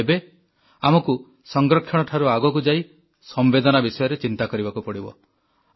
କିନ୍ତୁ ଏବେ ଆମକୁ ସଂରକ୍ଷଣଠାରୁ ଆଗକୁ ଯାଇ ସମ୍ବେଦନା ସମ୍ବନ୍ଧରେ ଚିନ୍ତା କରିବାକୁ ପଡ଼ିବ